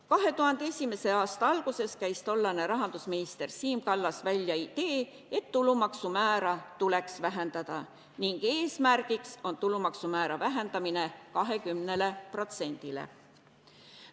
2001. aasta alguses käis tollane rahandusminister Siim Kallas välja idee, et tulumaksumäära tuleks vähendada ning eesmärgiks on tulumaksumäära vähendamine 20%-le.